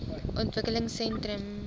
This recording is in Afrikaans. ontwikkelingsentrums obos